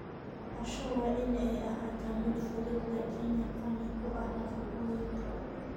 Casho waa in ay ahaataa mid fudud laakiin qani ku ah nafaqooyinka.